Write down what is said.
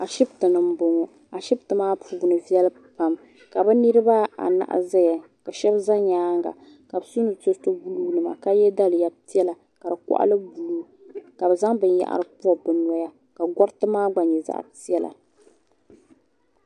Ashiptini m boŋɔ ashipti maa puuni viɛli pam ka bɛ niriba anahi zaya ka sheba za bɛ nyaanga ka bɛ so bɛ peto buluu nima ka ye daliya piɛla ka di koɣali buluu ka bɛ zaŋ binyahiri pobi bɛ noya ka goriti maa gba nyɛ zaɣa piɛla.